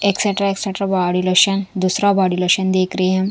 Extra extra body lotion दूसरा body lotion देख रहे हैं।